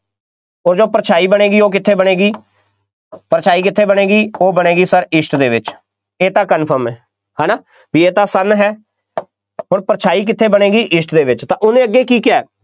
ਉਹ ਜੋ ਪਰਛਾਈ ਬਣੇਗੀ, ਉਹ ਕਿੱਥੇ ਬਣੇਗੀ ਪਰਛਾਈ ਕਿੱਥੇ ਬਣੇਗੀ, ਉਹ ਬਣੇਗੀ sir east ਦੇ ਵਿੱਚ, ਇਹ ਤਾਂ confirm ਹੈ, ਹੈ ਨਾ, ਬਈ ਇਹ ਤਾਂ sun ਹੈ ਅੋਰ ਪਰਛਾਈ ਕਿੱਥੇ ਬਣੇਗੀ east ਦੇ ਵਿੱਚ, ਉਹਨੇ ਅੱਗੇ ਕੀ ਕਿਹਾ,